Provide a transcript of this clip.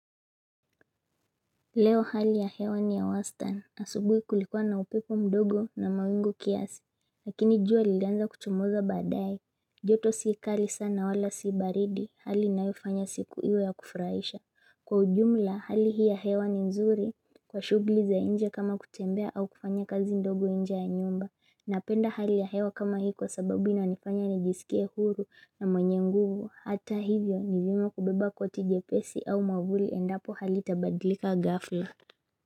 Leo hali ya hewa ni ya wastani asubuhi kulikuwa na upepo mdogo na mawingu kiasi, lakini jua lilianza kuchomoza baadaye joto si kali sana wala si baridi, hali inayofanya siku iwe ya kufurahisha. Kwa ujumla, hali hii ya hewa ni nzuri, kwa shughuli za nje kama kutembea au kufanya kazi ndogo nje ya nyumba. Napenda hali ya hewa kama hii kwa sababu inanifanya nijisikie huru na mwenye nguvu. Hata hivyo nivyema kubeba koti jepesi au mwavuli endapo hali itabadilika gafla.